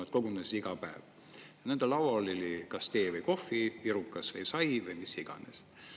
Nad kogunesid iga päev, nende laual oli kas tee või kohv, pirukas või sai või mis iganes.